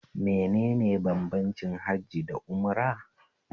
Menene bambancin hajji da umra?